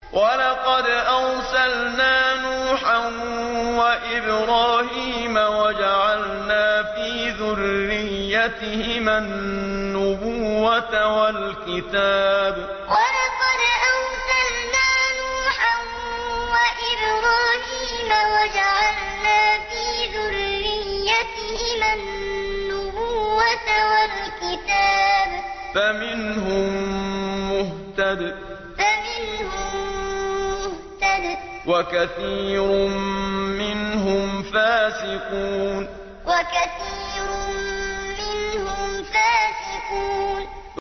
وَلَقَدْ أَرْسَلْنَا نُوحًا وَإِبْرَاهِيمَ وَجَعَلْنَا فِي ذُرِّيَّتِهِمَا النُّبُوَّةَ وَالْكِتَابَ ۖ فَمِنْهُم مُّهْتَدٍ ۖ وَكَثِيرٌ مِّنْهُمْ فَاسِقُونَ وَلَقَدْ أَرْسَلْنَا نُوحًا وَإِبْرَاهِيمَ وَجَعَلْنَا فِي ذُرِّيَّتِهِمَا النُّبُوَّةَ وَالْكِتَابَ ۖ فَمِنْهُم مُّهْتَدٍ ۖ وَكَثِيرٌ مِّنْهُمْ فَاسِقُونَ